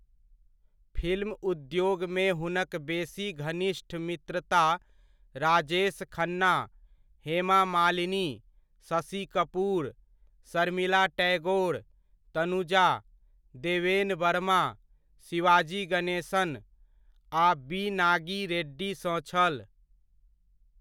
Film उद्योगमे हुनक बेसी घनिष्ठ मित्रता राजेश खन्ना, हेमा मालिनी, शशि कपूर, शर्मिला टैगोर, तनुजा, देवेन वर्मा, शिवाजी गणेशन आ बी.नागी रेड्डी सँ छल।